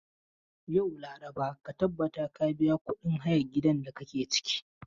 Yau, laraba, ka tabbata ka biya kudin hayan gidan da kake ciki.